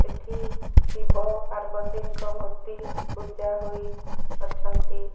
ଏଠି ଶିବ ପାର୍ବତୀଙ୍କ ମୂର୍ତ୍ତି ପୂଜା ହୋଇ ଅଛନ୍ତି।